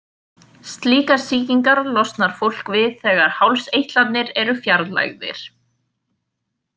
Slíkar sýkingar losnar fólk við þegar hálseitlarnir eru fjarlægðir.